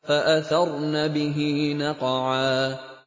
فَأَثَرْنَ بِهِ نَقْعًا